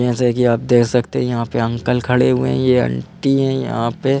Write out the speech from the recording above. जैसे कि आप देख सकते है यहां पे अंकल खड़े हुए है ये अंटी है यहां पे --